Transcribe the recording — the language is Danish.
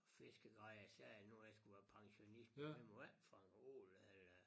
Fiskegrej og jeg sagde nu hvor jeg skal være pensionist men man må ikke fange ål eller